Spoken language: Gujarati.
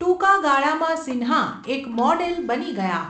ટૂંકા ગાળામાં સિન્હા એક મોડેલ બની ગયા.